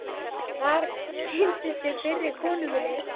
Þar kynntist ég fyrri konu minni